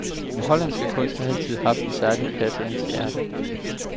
Den hollandske kunst har altid haft en særlig plads i hans hjerte.